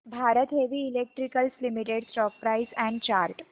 Bharat Heavy Electricals Limited stock price and chart